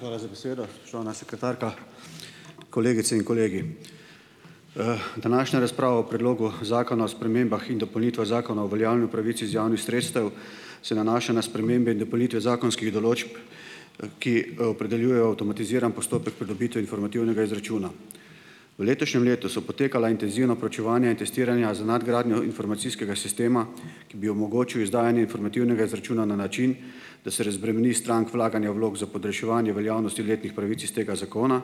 Hvala za besedo, spoštovana sekretarka, kolegice in kolegi. Današnja razprava o predlogu zakona o spremembah in dopolnitvah zakona o uveljavljanju pravic iz javnih sredstev se nanaša na spremembe in dopolnitve zakonskih določb, ki opredeljujejo avtomatiziran postopek pridobitve informativnega izračuna. V letošnjem letu so potekala intenzivna proučevanja in testiranja za nadgradnjo informacijskega sistema, ki bi omogočil izdajanje informativnega izračuna na način, da se razbremeni strank vlaganja vlog za podaljševanje veljavnosti letnih pravic iz tega zakona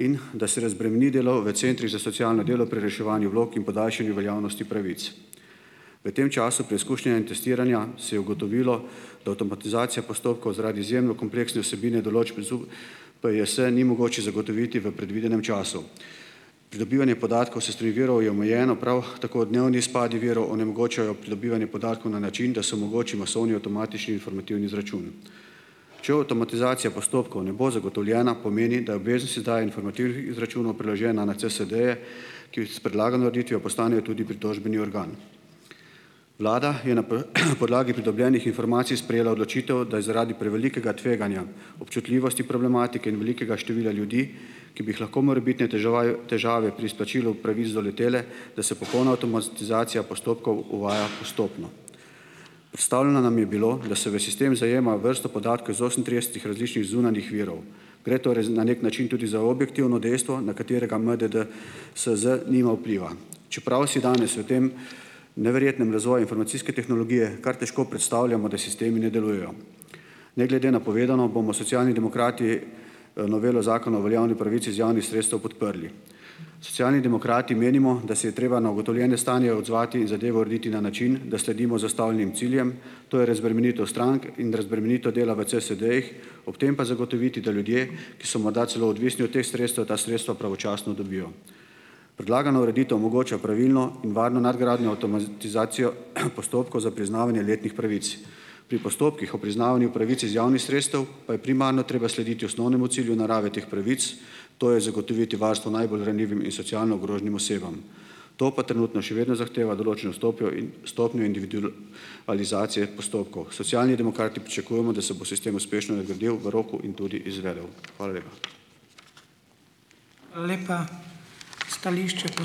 in da se razbremeni delo v centrih za socialno delo pri reševanju vlog in podaljšanju veljavnosti pravic. V tem času preizkušnja in testiranja se je ugotovilo, da avtomatizacija postopkov zaradi izjemno kompleksne vsebine določb ZU PJS ni mogoče zagotoviti v predvidenem času. Pridobivanje podatkov s strani virov je omejeno, prav tako dnevni izpadi virov onemogočajo pridobivanje podatkov na način, da se omogoči masovni avtomatični informativni izračun. Če avtomatizacija postopkov ne bo zagotovljena, pomeni, da je obveznost izdaja informativnih izračunov preložena na CSD-je, ki s predlagano ureditvijo postanejo tudi pritožbeni organ. Vlada je na podlagi pridobljenih informacij sprejela odločitev, da je zaradi prevelikega tveganja, občutljivosti problematike in velikega števila ljudi, ki bi jih lahko morebitne teževae težave pri izplačilu pravic doletele, da se popolna avtomatizacija postopkov uvaja postopno. Predstavljeno nam je bilo, da se v sistem zajema vrsto podatkov iz osemintridesetih različnih zunanjih virov. Gre torej na neki način tudi za objektivno dejstvo, na katerega MDD SZ nima vpliva. Čeprav si danes v tem neverjetnem razvoju informacijske tehnologije kar težko predstavljamo, da sistemi ne delujejo. Ne glede na povedano, bomo Socialni demokrati novelo Zakona o uveljavljanju pravic iz javnih sredstev podprli. Socialni demokrati menimo, da se je treba na ugotovljene stanje odzvati, zadevo urediti na način, da sledimo zastavljenim ciljem, to je razbremenitev strank in razbremenitev dela v CSD-jih, ob tem pa zagotoviti, da ljudje, ki so morda celo odvisni od teh sredstev, ta sredstva pravočasno dobijo. Predlagana ureditev omogoča pravilno in varno nadgradnjo avtomatizacijo postopkov za priznavanje letnih pravic. Pri postopkih o priznavanju pravic iz javnih sredstev, pa je primarno treba slediti osnovnemu cilju narave teh pravic, to je zagotoviti varstvo najbolj ranljivim in socialno ogroženim osebam. To pa trenutno še vedno zahteva določeno stopnjo in stopnjo individu alizacije postopkov. Socialni demokrati pričakujemo, da se bo sistem uspešno nadgradil v roku in tudi izvedel. Hvala lepa.